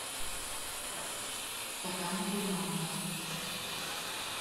стакан креманка